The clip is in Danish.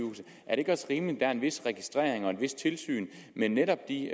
ikke også rimeligt er en vis registrering af og et vist tilsyn med netop de